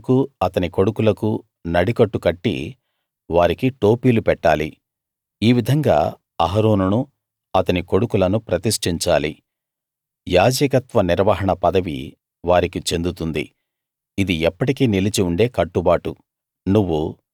అహరోనుకు అతని కొడుకులకూ నడికట్లు కట్టి వారికి టోపీలు పెట్టాలి ఈ విధంగా అహరోనును అతని కొడుకులను ప్రతిష్టించాలి యాజకత్వ నిర్వహణ పదవి వారికి చెందుతుంది ఇది ఎప్పటికీ నిలిచి ఉండే కట్టుబాటు